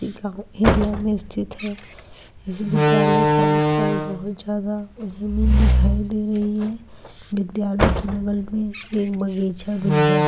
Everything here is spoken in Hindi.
एरिया में स्थित है इस विद्यालय के आस-पास बहुत ज्यादा दिखाई दे रही है विद्यालय के बगल में बगीचा भी है।